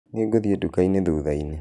Nĩngũthĩe dũkaĩnĩ thũthaĩnĩ.